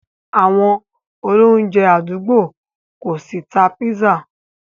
Àwọn olóunjẹ̀ adúgbò kò ṣí tà pízzà.